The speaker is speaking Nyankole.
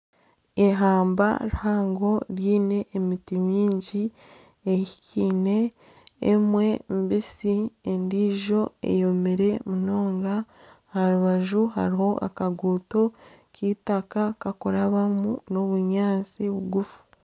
Eihamba rihango riine emiti mingi ehikaine emwe mbisi, endiijo eyomire munonga aha rubaju hariho akaguuto k'eitaka karikuraabamu n'obunyaatsi bugufu